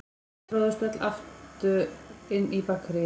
Þau tróðust öll aftur inn í Bakaríið.